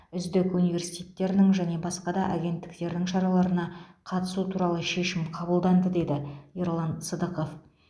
үздік университеттерінің және басқа да агентіктердің шараларына қатысту туралы шешім қабылданды деді ерлан сыдықов